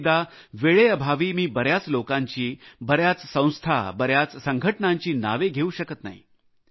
कित्येकदा वेळेअभावी मी बऱ्याच लोकांची संस्थांची संघटनांची नावे घेऊ शकत नाही